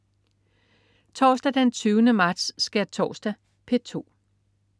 Torsdag den 20. marts. Skærtorsdag - P2: